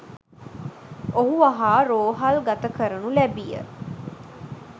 ඔහු වහා රෝහල් ගත කරනු ලැබීය